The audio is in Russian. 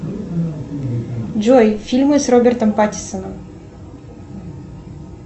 джой фильмы с робертом паттинсоном